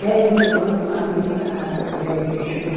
Dez mil ano, aí a eh chama...